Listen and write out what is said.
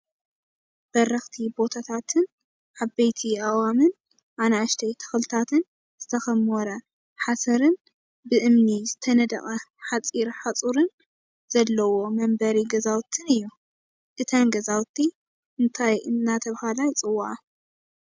በረክቲ ቦታታትን ዓበይቲ ኣእዋምን ኣናእሽተይ ተክልታትን ዝተከሞረ ካሰርን ብእምኒ ዝተነደቀ ሓፂር ሓፀርን ዘለዎ መንበሪ ገዛውትን እዩ። እተን ገዛውቲ እንታይ እናተባህላ ይፅውዓ?